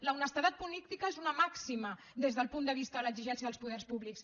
l’honestedat política és una màxima des del punt de vista de l’exigència dels poders públics